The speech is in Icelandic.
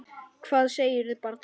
Hvað segirðu barn?